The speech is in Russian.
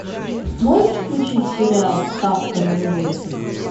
можешь включить сериал ставка на любовь